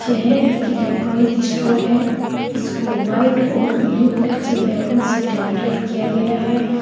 यह एक electronic store है इसको व्हाइट और ब्लू कलर के बैलून से डेकोरेट किया गया है।